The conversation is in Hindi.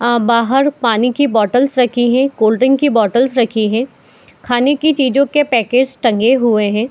बाहर पानी की बॉटल्स रखे है कोल्ड ड्रिंक की बोतल रखे है खाने की चीजों के पैकेट टंगे हुए हैं।